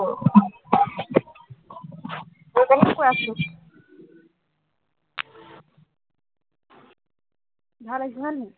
ভাল আহিছে হয় নে নহয়?